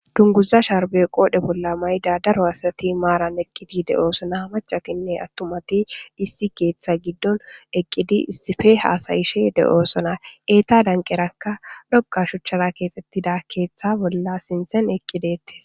Dunguza shaarbe qoodhe bolla mayda daro asati maaran eqqidi de'osona hmacakinne attumati issi keeththa giddon eqqidi issife haasayishe de'osona eeta danqeraka doqa shuchchara keexettida keeththa bolla sinten eqqidettes.